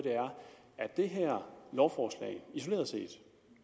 er øger det her lovforslag isoleret set